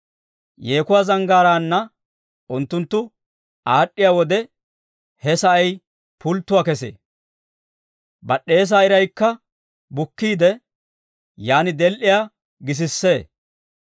Yeekuwaa zanggaaraanna unttunttu aad'd'iyaa wode, he sa'ay pulttuwaa kesee. Bad'd'eesaa iraykka bukkiide, yaan del"iyaa gisissee.